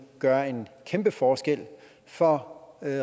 gøre en kæmpe forskel for